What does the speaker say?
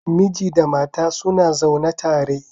Miji da mata suna zaune tare.